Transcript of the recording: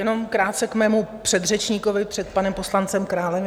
Jenom krátce k mému předřečníkovi před panem poslancem Králem.